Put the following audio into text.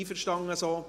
Einverstanden so?